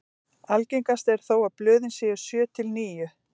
algengast er þó að blöðin séu sjö til níu